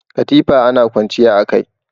Katifa ana kwanciya a kai.